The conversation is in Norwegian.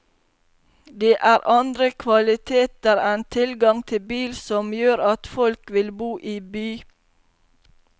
Det er andre kvaliteter enn tilgang til bil som gjør at folk vil bo i by.